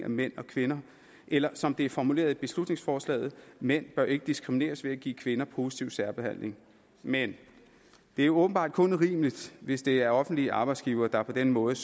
mænd og kvinder eller som det er formuleret i beslutningsforslaget mænd bør ikke diskrimineres ved at give kvinderne positiv særbehandling men det er åbenbart kun urimeligt hvis det er offentlige arbejdsgivere der på den måde